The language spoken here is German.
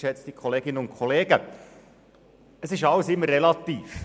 Es ist alles immer relativ.